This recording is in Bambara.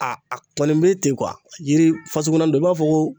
A a kɔni bɛ ten yiri fasuguya dɔ i b'a fɔ ko